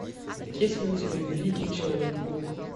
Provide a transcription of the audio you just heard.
есть ли у тебя великий человек паук